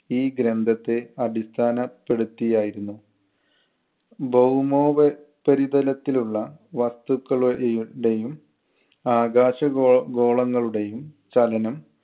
ഈ ഗ്രന്ഥത്തെ അടിസ്ഥാനപ്പെടുത്തിയായിരുന്നു. ഭൗമോപരിതലത്തിലുള്ള വസ്തുക്കളു എയും ടെയും ആകാശഗോ~ ഗോളങ്ങളുടെയും ചലനം